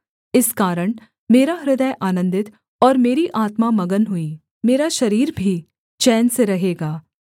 इस कारण मेरा हृदय आनन्दित और मेरी आत्मा मगन हुई मेरा शरीर भी चैन से रहेगा